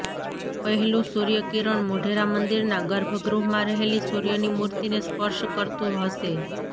પહેલું સૂર્ય કિરણ મોઢેરા મંદિરના ગર્ભ ગૃહમાં રહેલી સૂર્યની મૂર્તિને સ્પર્શ કરતુ હશે